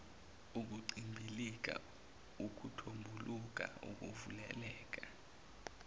ukuncibilika ukuthombuluka ukuvuleleka